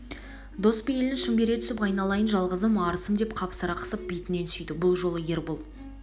дос бейлін шын бере түсіп айналайын жалғызым арысым деп қапсыра қысып бетінен сүйді бұл жолы ербол